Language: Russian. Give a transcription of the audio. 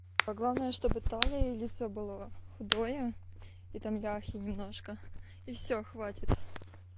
главное чтобы талия и лицо было худое и там ляхи немножко и всё хватит